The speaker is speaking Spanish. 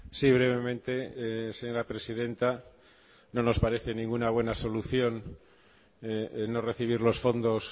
sí brevemente señora presidenta no nos parece ninguna buena solución no recibir los fondos